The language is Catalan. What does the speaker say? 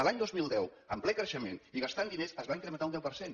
l’any dos mil deu en ple creixement i gastant diners es va incrementar un deu per cent